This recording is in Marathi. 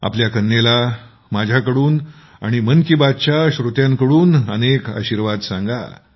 आपल्या कन्येला माझ्याकडून आणि मन की बातच्या श्रोत्यांकडून खूप सारे आशीर्वाद द्या